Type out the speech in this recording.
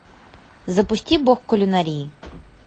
запусти бог кулинарии